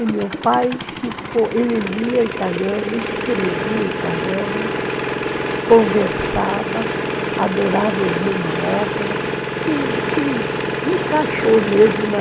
E meu pai ficou, ele lia italiano, escrevia italiano, conversava, adorava ouvir uma ópera, se se encaixou mesmo na...